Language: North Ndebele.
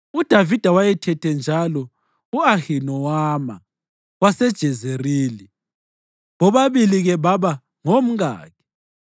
UDavida wayethethe njalo u-Ahinowama waseJezerili, bobabili-ke baba ngomkakhe.